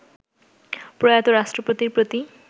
প্রয়াত রাষ্ট্রপতির প্রতি